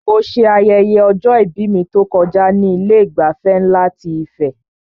Mo ṣe ayẹyẹ ọjọ-ìbí mi tó kọjá ní Ilé ìgbafẹ́ nlá ti Ife